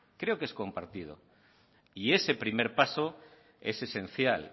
creo que es compartido y ese primer paso es esencial